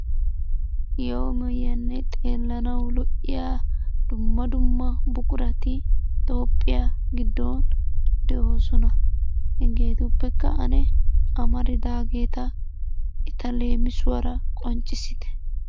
Maayiyo maayuwanne xeellanawu lo'iya dumma dumma buqurati tophphiya giddon de'oosona. Hegeetuppekka ane amaridaageeta eta leemisuwara qonccissite.